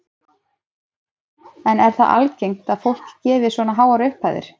En er það algengt að fólk gefi svona háar upphæðir?